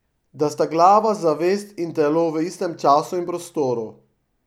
Da sta glava, zavest, in telo v istem času in prostoru.